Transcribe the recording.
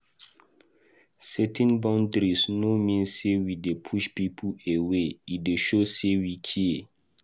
Setting boundaries no mean say we dey push people away; e dey show sey we care.